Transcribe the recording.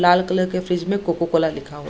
लाल colour के fridge में Coca Cola लिखा हुआ --